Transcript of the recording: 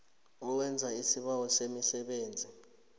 owenza isibawo semisebenzi